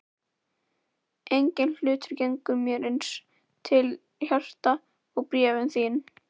Enginn hlutur gengur mér eins til hjarta og bréfin þín.